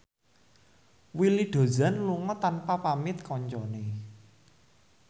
Willy Dozan lunga tanpa pamit kancane